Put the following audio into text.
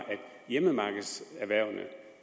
hjemmemarkedserhvervene